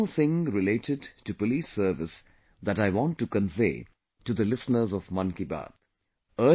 There is one more thing related to police service that I want to convey to the listeners of 'Mann Ki Baat'